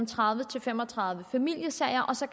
tredive til fem og tredive familiesager og så